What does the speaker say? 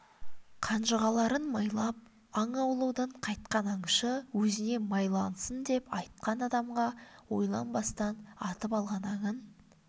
қанжығаларын майлап аң аулаудан қайтқан аңшы өзіне майлансын деп айтқан адамға ойланбастан атып алған аңын